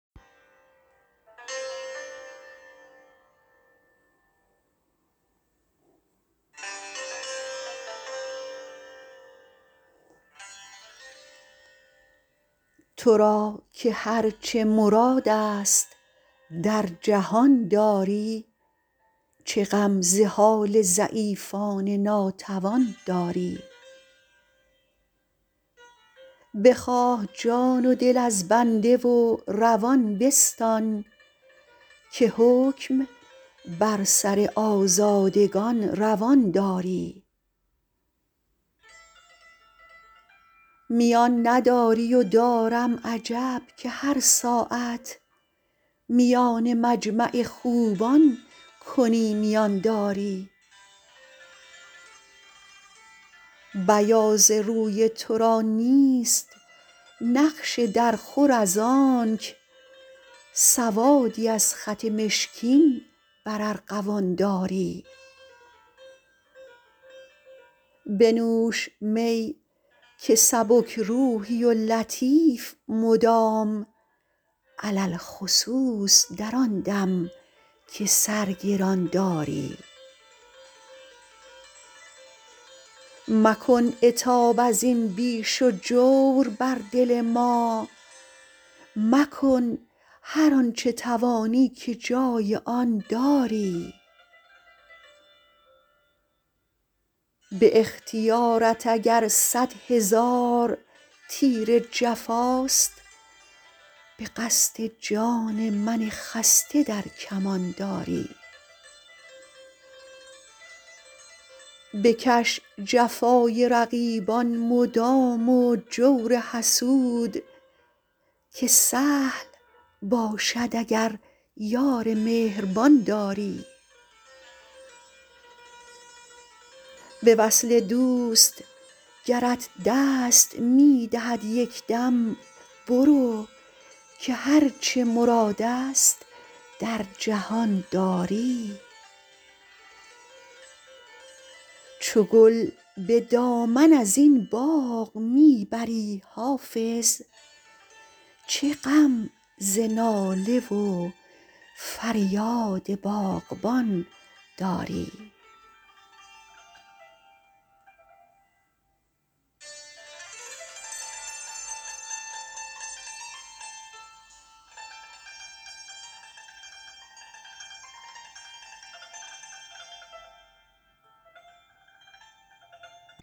تو را که هر چه مراد است در جهان داری چه غم ز حال ضعیفان ناتوان داری بخواه جان و دل از بنده و روان بستان که حکم بر سر آزادگان روان داری میان نداری و دارم عجب که هر ساعت میان مجمع خوبان کنی میان داری بیاض روی تو را نیست نقش درخور از آنک سوادی از خط مشکین بر ارغوان داری بنوش می که سبک روحی و لطیف مدام علی الخصوص در آن دم که سر گران داری مکن عتاب از این بیش و جور بر دل ما مکن هر آن چه توانی که جای آن داری به اختیارت اگر صد هزار تیر جفاست به قصد جان من خسته در کمان داری بکش جفای رقیبان مدام و جور حسود که سهل باشد اگر یار مهربان داری به وصل دوست گرت دست می دهد یک دم برو که هر چه مراد است در جهان داری چو گل به دامن از این باغ می بری حافظ چه غم ز ناله و فریاد باغبان داری